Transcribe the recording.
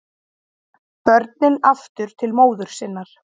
Börnin aftur til móður sinnar